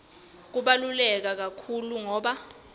kubaluleke kakhulu ngobe